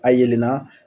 A yelenna